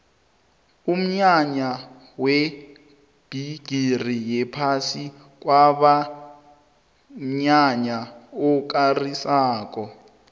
umnyanya webhigiri yephasi kwaba mnyanya okarisako